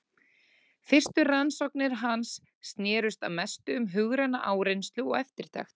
Fyrstu rannsóknir hans snerust að mestu um hugræna áreynslu og eftirtekt.